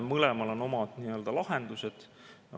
Mõlemal on omad lahendused.